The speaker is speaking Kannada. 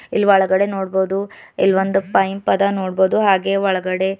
ಇಲ್ ಒಳಗಡೆ ನೋಡ್ಬಹುದು ಇಲ್ಲೊಂದು ಪೈಪ್ ಅದ ನೋಡ್ಬಹುದು ಹಾಗೆ ಒಳಗಡೆ--